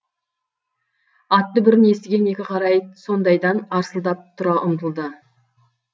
ат дүбірін естіген екі қара ит сонадайдан арсылдап тұра ұмтылды